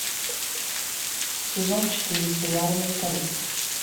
сезон четыре сериала менталист